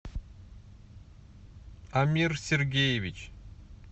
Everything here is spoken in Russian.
амир сергеевич